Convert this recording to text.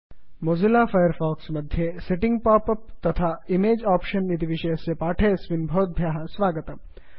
Mozilla Firefox मध्ये setting pop up तथा image option इति विषयस्य पाठेऽस्मिन् भवद्भ्यः स्वागतम्